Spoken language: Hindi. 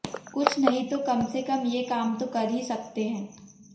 कुछ नहीं तो कम से कम ये काम तो कर ही सकते हैं